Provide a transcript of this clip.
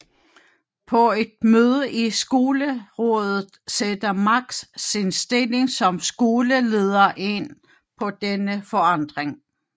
På et møde i Skolerådet sætter Max sin stilling som skoleleder ind på denne forandring